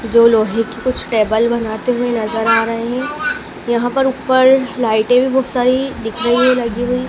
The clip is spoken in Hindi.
जो लोहे की कुछ टेबल बनाते हुए नजर आ रहे हैं यहां पर ऊपर लाइटें भी बहुत सारी दिख रही हैं लगी हुई--